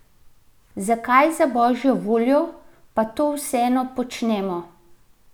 Zakaj, za božjo voljo, pa to vseeno počnemo?